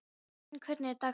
Sæunn, hvernig er dagskráin?